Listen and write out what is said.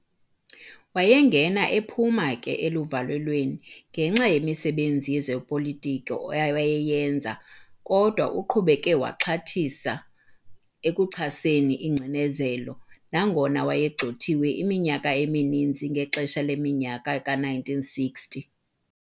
Wayengena ephuma ke eluvalelweni ngenxa yemisebenzi yezopolitiko awayeyenza, kodwa uqhubeke waxhathisa ekuchaseni ingcinezelo, nangona wayegxothiwe iminyaka emininzi ngexesha leminyaka ka-1960.